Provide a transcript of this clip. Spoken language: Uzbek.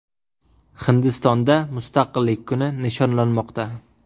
Hindistonda Mustaqillik kuni nishonlanmoqda.